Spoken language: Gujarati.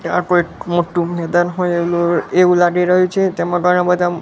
ત્યાં કોઈક મોટું મેદાન હોય એલુ એવું લાગી રહ્યું છે તેમાં ઘણા બધા--